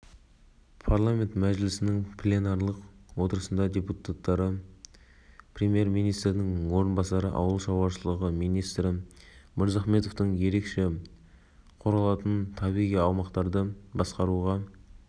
тағы бір айта кетерлік жайт бекітілген су тоғандарында әуесқой балық аулаушыларға кг дейін тегін және бұл үшін рұқсат алу керек емес